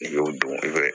N'i y'o dun i bɛ